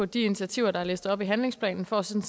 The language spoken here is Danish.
de initiativer der er læst op fra handlingsplanen for at se